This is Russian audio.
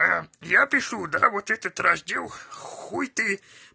а я пишу да вот этот раздел хуй ты